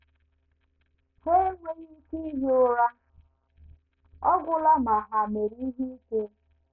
Ha enweghị ike ihi ụra ọ gwụla ma ha mere ihe ike.